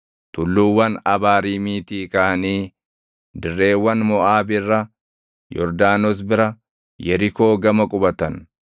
Tulluuwwan Abaariimiitii kaʼanii dirreewwan Moʼaab irra, Yordaanos bira, Yerikoo gama qubatan.